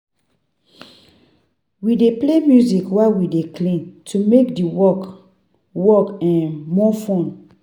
We dey play music while we dey clean to make di work work um more fun.